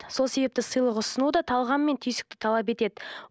сол себепті сыйлық ұсыну да талғам мен түйсікті талап етеді